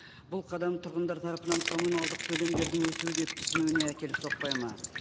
бұл қадам тұрғындар тарапынан коммуналдық төлемдердің өсуі деп түсінуіне әкеліп соқпайды ма